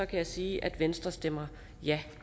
kan jeg sige at venstre stemmer ja